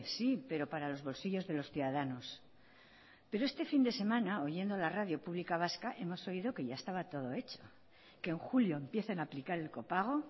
sí pero para los bolsillos de los ciudadanos pero este fin de semana oyendo la radio pública vasca hemos oído que ya estaba todo hecho que en julio empiezan a aplicar el copago